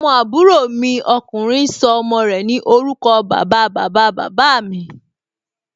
Ọmọ àbúrò mi ọkùnrin sọ ọmọ rẹ̀ ní orúkọ bàba, bàba, bàbá mí